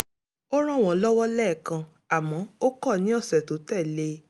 ó ràn wọ́n lọ́wọ́ lẹ́ẹ̀kan àmọ́ ó kọ̀ ní ọ̀sẹ̀ tó tẹ̀ lé e